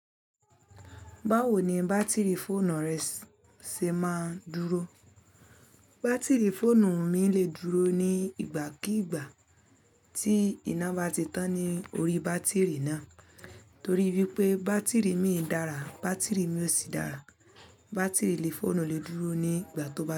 Báwo ni bátìrì fóònù rẹ ṣe máa ń dúró? Bátìrì fóònù mi lè dúró ní ìgbà kii ìgbà tí iná bá ti tán ní orí bátìrì náà. Torí wípé bátìrì mi dára, bátìrì mi ò sí dára. Bátìrì lé fóònù lè dúró ní ìgbà tó bá ṣe.